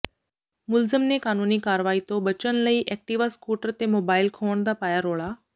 ਮੁਲਜ਼ਮ ਨੇ ਕਾਨੂੰਨੀ ਕਾਰਵਾਈ ਤੋਂ ਬਚਨ ਲਈ ਐਕਟਿਵਾ ਸਕੂਟਰ ਤੇ ਮੋਬਾਈਲ ਖੋਹਣ ਦਾ ਪਾਇਆ ਰੋਲਾ